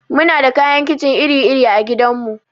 Muna da kayan kicin iri iri a gidan mu.